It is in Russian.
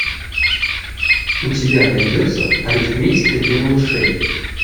у тебя найдется арифметика для малышей